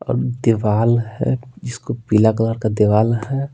और दीवाल है जिसको पीला कलर का दीवाल है।